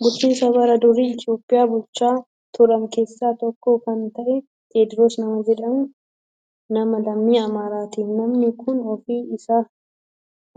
Bulchitoota bara durii Itoophiyaa bulchaa turan keessaa tokko kan ta'e Tewodiroos nama jedhamu nama lammii Amaaraati. Namni kun